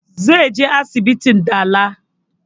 Zai je asibitin dala